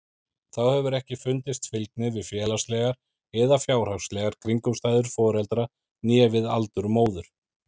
Þá hefur ekki fundist fylgni við félagslegar eða fjárhagslegar kringumstæður foreldra né við aldur móður.